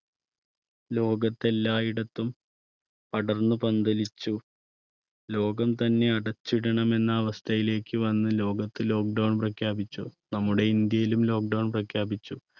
ലോകത്ത് എല്ലായിടത്തും പടർന്നു പന്തലിച്ചു. ലോകം തന്നെ അടച്ചിടണമെന്ന് അവസ്ഥയിലേക്ക് വന്ന് ലോകത്ത് lock down പ്രഖ്യാപിച്ചു. നമ്മുടെ ഇന്ത്യയിലും lock down പ്രഖ്യാപിച്ചു.